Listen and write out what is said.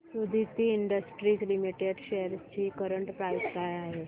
Suditi industries limited shares ची current price काय आहे